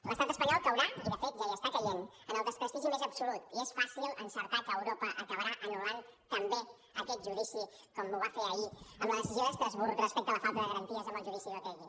l’estat espanyol caurà i de fet ja hi està caient en el desprestigi més absolut i és fàcil encertar que europa acabarà anul·lant també aquest judici com ho va fer ahir amb la decisió d’estrasburg respecte a la falta de garanties en el judici d’otegi